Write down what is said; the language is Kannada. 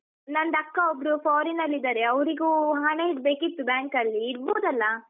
ನಂದು ಅಕ್ಕ ಒಬ್ರು foreign ಅಲ್ಲಿ ಇದಾರೆ ಅವ್ರಿಗು ಹಣ ಇಡ್ಬೇಕಿತ್ತು bank ಅಲ್ಲಿ, ಇಡ್ಬೋದಲ್ಲಾ?